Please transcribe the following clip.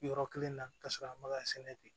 Yɔrɔ kelen na ka sɔrɔ a ma ka sɛnɛ ten